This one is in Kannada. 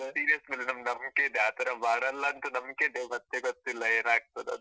ನಮ್ seniors ಮೇಲೆ ನಮ್ಗೆ ನಂಬ್ಕೆ ಇದೆ, ಆತರ ಮಾಡಲ್ಲ ಅಂತ ನಂಬ್ಕೆ ಇದೆ ಮತ್ತೆ ಗೊತ್ತಿಲ್ಲ ಏನಾಗ್ತದಂತ.